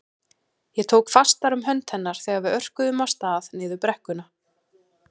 Ég tók fastar um hönd hennar þegar við örkuðum af stað niður brekkuna.